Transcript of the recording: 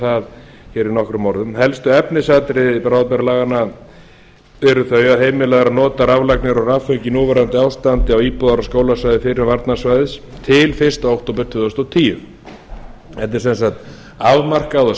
það hér í nokkrum orðum helstu efnisatriði bráðabirgðalaganna eru þau að heimilað er að nota raflagnir og rafföng í núverandi ástandi á íbúðar og skólasvæði fyrrum varnarsvæðis til fyrsta október tvö þúsund og tíu þetta er sem sagt afmarkað og